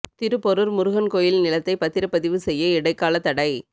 திருப்போரூா் முருகன் கோயில் நிலத்தை பத்திரப் பதிவு செய்ய இடைக்கால தடை